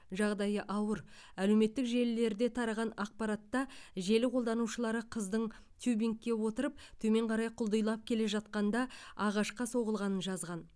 жағдайы ауыр әлеуметтік желілерде тараған ақпаратта желі қолданушылары қыздың тюбингке отырып төмен қарай құлдилап келе жатқанда ағашқа соғылғанын жазған